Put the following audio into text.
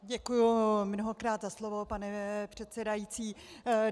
Děkuji mnohokrát za slovo pane předsedající.